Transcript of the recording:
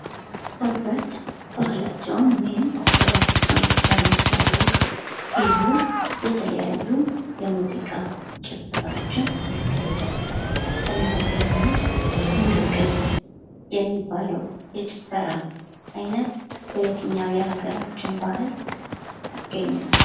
ሰዎች ባህላቸውን ወይም ጥበባቸውን ለማስተዋወቅ ሲሉ የተለያዩ የሙዚቃ ጭፈራዎችን ያካሂዳሉ። ከእነዚህም ውስጥ እንቅጥቅጥ የሚባለው የጭፈራ ዓይነት በየትኛው የሀገራችን ባህል ይገኛል?